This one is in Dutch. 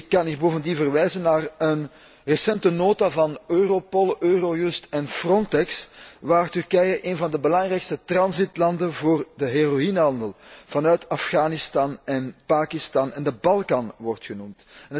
Ik kan hier bovendien verwijzen naar een recente nota van Europol, Eurojust en Frontex, waar Turkije een van de belangrijkste transitlanden voor de heroïnehandel vanuit Afghanistan, Pakistan en de Balkan wordt genoemd.